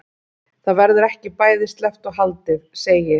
Það verður ekki bæði sleppt og haldið segir